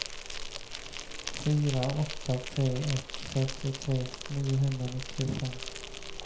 fyra åtta tre ett fyrtiotre niohundranittiofem